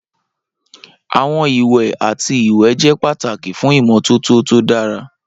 Awọn iwẹ ati iwẹ jẹ pataki fun imototo to dara.